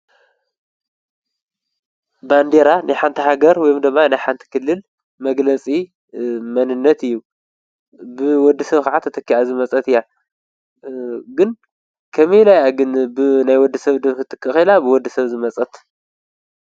ባንዲራ ንሓንቲ ሃገር ወምዶማ ነይሓንቲ ክልል መግለጺ መንነት እዩ ።ብወዲ ሰብ ከዓት እተኪኣ ዝመጸት እያ ግን ከመይ ኢለያግን ብናይ ወዲ ሰብ ድርፊ ትቀኺላ ብወዲ ሰብ ዝመጸት?